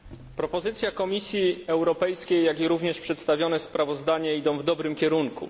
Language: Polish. Propozycja Komisji Europejskiej, jak i również przedstawione sprawozdanie idą w dobrym kierunku.